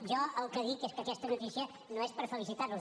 jo el que dic és que aquesta notícia no és per felicitar los